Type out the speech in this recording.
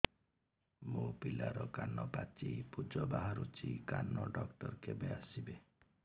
ମୋ ପିଲାର କାନ ପାଚି ପୂଜ ବାହାରୁଚି କାନ ଡକ୍ଟର କେବେ ଆସିବେ